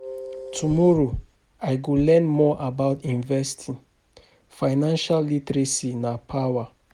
Tomorrow, I go learn more about investing, financial literacy na power